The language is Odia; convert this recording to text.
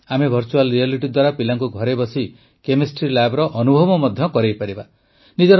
ଆମେ ଭର୍ଚୁଆଲ୍ ରିଆଲିଟି ଦ୍ୱାରା ପିଲାଙ୍କୁ ଘରେ ବସି କେମେଷ୍ଟ୍ରି ଲ୍ୟାବର ଅନୁଭବ ମଧ୍ୟ କରାଇପାରିବା